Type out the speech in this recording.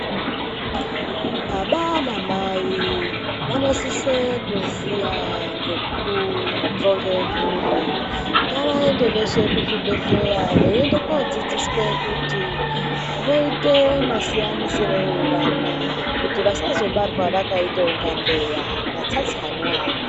Baba namai vanosise kuziya ngekuronge mburi. Ngavaende veshe kuzvibhedhleya veiende kodzidziswe kuti voite masiyanisirei vana kuti vasazobarwa vakaita kunga mbeya matsatsanwa.